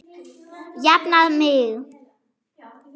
Jafna mig!